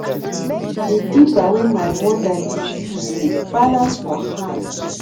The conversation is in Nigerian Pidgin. di dibber wey my mother dey use dey balance for hand